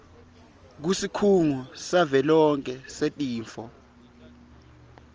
kusikhungo savelonkhe setifo